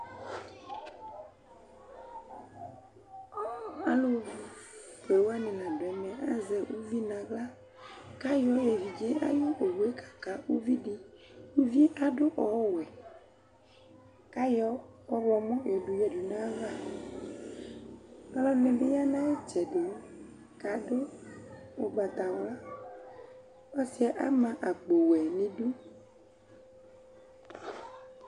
Alʋ fue wanɩ la dʋ ɛmɛ , azɛ uvi naɣlaKayɔ evidze ayʋ owue kaka uvi di, uvi adʋ ɔwɛ ,kayɔ ɔɣlɔmɔ yɔ dʋ yǝdu nayava; ɔlɔdɩ bɩ ya nayɩtsɛdɩ kadʋ ʋgbatawlaƆsɩɛ ama akpo wɛ n' idu